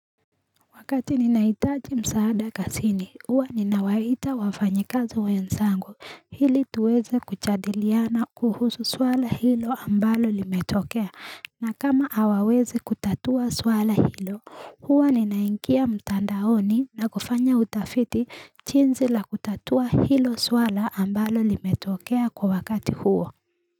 Wakati ninahitaji msaada kazini, huwa ninawaita wafanyikazi wenzangu Ili tuweze kujadiliana kuhusu swala hilo ambalo limetokea. Na kama hawawezi kutatua swala hilo, huwa ninaingia mtandaoni na kufanya utafiti jinsi la kutatua hilo swala ambalo limetokea kwa wakati huwo.